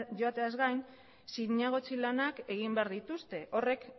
joateaz gain zinegotzi lanak egin behar dituzte horrek